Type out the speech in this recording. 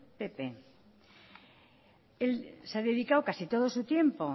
pp se ha dedicado casi todo su tiempo